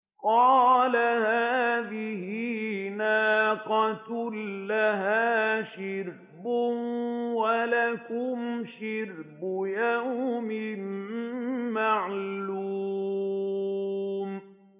قَالَ هَٰذِهِ نَاقَةٌ لَّهَا شِرْبٌ وَلَكُمْ شِرْبُ يَوْمٍ مَّعْلُومٍ